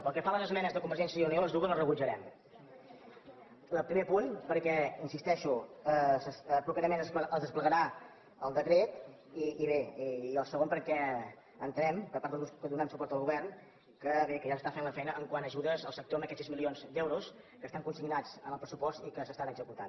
pel que fa a les esmenes de convergència i unió les dues les rebutjarem la del primer punt perquè hi insisteixo properament es desplegarà el decret i bé i el segon perquè entenem per part dels grups que donem suport al govern que bé ja s’està fent la feina quant a ajudes al sector amb aquests sis milions d’euros que estan consignats en el pressupost i que s’estan executant